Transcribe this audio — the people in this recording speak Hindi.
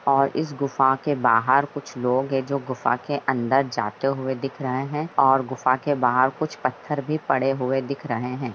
अ इस गुफा के बाहार कुछ लोग है जो गुफा के अन्दर जाते हुए दिख रहे है और गुफा के बाहार कुछ पत्थर भी पड़े हुए भी दिख रहे है।